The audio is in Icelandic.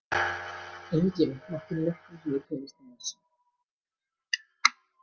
Enginn mátti nokkru sinni komast að þessu.